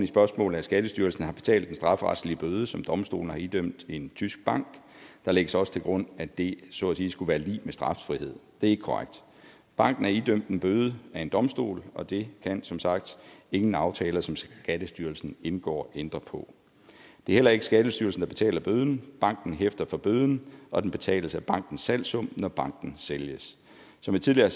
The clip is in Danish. spørgsmålet at skattestyrelsen har betalt den strafferetlige bøde som domstolene har idømt en tysk bank der lægges også til grund at det så at sige skulle være lig med straffrihed det er ikke korrekt banken er idømt en bøde af en domstol og det kan som sagt ingen aftaler som skattestyrelsen indgår ændre på det er heller ikke skattestyrelsen der betaler bøden banken hæfter for bøden og den betales af bankens salgssum når banken sælges som jeg tidligere